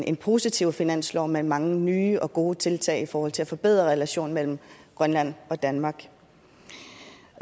en positiv finanslov med mange nye og gode tiltag i forhold til at forbedre relationen mellem grønland og danmark